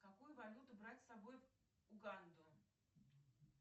какую валюту брать с собой в уганду